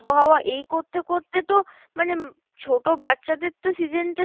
আবহাওয়া, এই করতে করতে তো মানে ছোটো বাচ্চাদের তো season টা